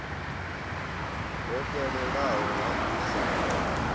ho fhelelaho ha u sa